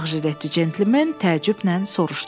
Ağ jiletdə Centilmen təəccüblə soruşdu.